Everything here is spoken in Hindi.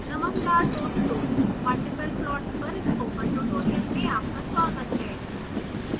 नमस्कार दोस्तों multiple plots पर स्पोकन ट्यूटोरियल में आपका स्वागत है